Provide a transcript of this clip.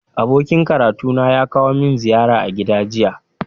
Abokin karatuna ya kawo min ziyara a gida jiya